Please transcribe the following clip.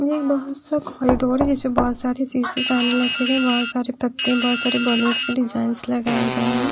बहुत सा कॉरिडोर है जिसपे बहुत सारे सीसेस आने लगे गए हैं बहुत सारे पत्ते बहुत सारे बॉलंस के डिज़ाइंस लगाए गए हैं।